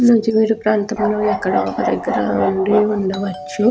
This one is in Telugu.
నూజివీడు ప్రాంతంలో ఎక్కడో ఒక్క దగ్గర ఉండిఉండవచ్చు.